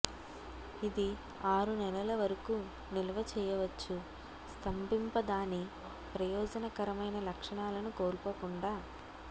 ఇది ఆరు నెలల వరకు నిల్వ చేయవచ్చు స్తంభింప దాని ప్రయోజనకరమైన లక్షణాలను కోల్పోకుండా